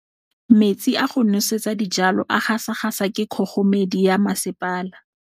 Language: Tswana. Metsi a go nosetsa dijalo a gasa gasa ke kgogomedi ya masepala.